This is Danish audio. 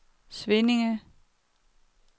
Svinninge